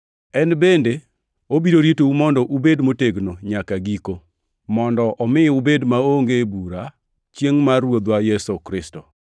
En bende obiro ritou mondo ubed motegno nyaka giko, mondo omi ubed maonge bura chiengʼ mar Ruodhwa Yesu Kristo.